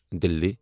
دِلہِ